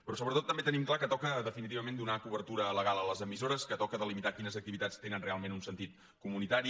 però sobretot també tenim clar que toca definitivament donar cobertura legal a les emissores que toca delimitar quines activitats tenen realment un sentit comunitari